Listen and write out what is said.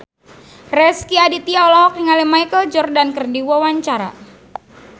Rezky Aditya olohok ningali Michael Jordan keur diwawancara